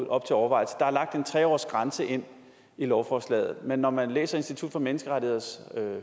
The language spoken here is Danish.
op til overvejelse der er lagt en tre årsgrænse ind i lovforslaget men når man læser institut for menneskerettigheders